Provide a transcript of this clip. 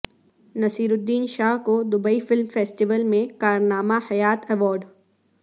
نصیرالدین شاہ کو Dubai film festival میں کارنامہ حیات ایوارڈ